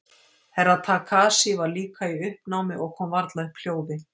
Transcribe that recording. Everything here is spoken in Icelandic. Herra Takashi var líka í uppnámi og kom varla upp hljóði.